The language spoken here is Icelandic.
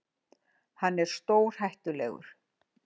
Hann er stórhættulegur!